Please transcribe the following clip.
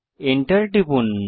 enter টিপুন